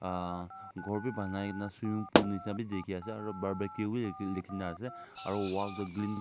ah ghor wi banai na swimming pool nishini bi dikhi ase aro barbeque wi ekjun dikhina ase aro wall toh cl--